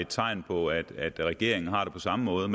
tegn på at regeringen har det på samme måde